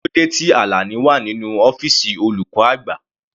Kílódé tí Alani wà nínú ọ́fìsì olùkọ́ àgbà?